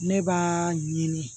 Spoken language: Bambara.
Ne b'a ɲini